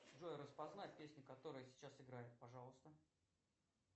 джой распознай песню которая сейчас играет пожалуйста